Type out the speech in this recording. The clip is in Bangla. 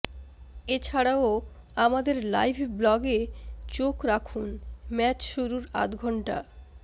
এছাড়াও আমাদের লাইভ ব্লগে চোখ রাখুন ম্যাচ শুরুর আধঘন্টা